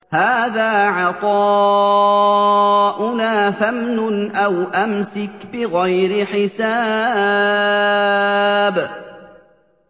هَٰذَا عَطَاؤُنَا فَامْنُنْ أَوْ أَمْسِكْ بِغَيْرِ حِسَابٍ